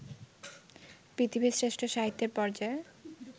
পৃথিবীর শ্রেষ্ঠ সাহিত্যের পর্যায়ে